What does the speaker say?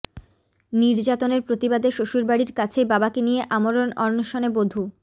নির্যাতনের প্রতিবাদে শ্বশুরবাড়ির কাছেই বাবাকে নিয়ে আমরণ অনশনে বধূ